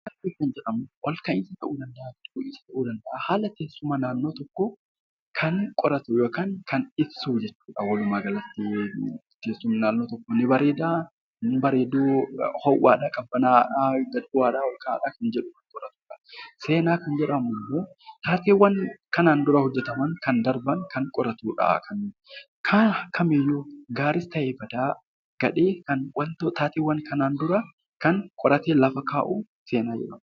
Jii'oogiraafiin haala teessuma lafaa kan qoratu yookaan kan ibsudha. Walumaa galatti naannoon tokko ni bareeda kan nama hawwatuu fi qilleensa qabbanaa'aa kan qabudha. Seenaa kan jedhamu immoo seenaawwan kanaan dura raawwataman kan darban kan qoratudha.